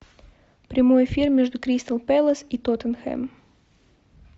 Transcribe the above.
прямой эфир между кристал пэлас и тоттенхэм